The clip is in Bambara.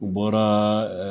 U bɔraa